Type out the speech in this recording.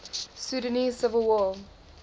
sudanese civil war